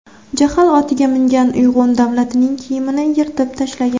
Jahl otiga mingan Uyg‘un Davlatning kiyimini yirtib tashlagan.